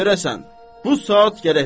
Bu saat gərək verəsən.